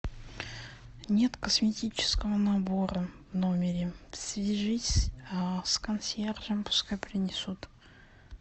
нет косметического набора в номере свяжись с консьержем пускай принесут